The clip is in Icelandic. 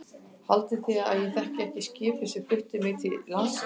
Haldið þið að ég þekki ekki skipið sem flutti mig til landsins.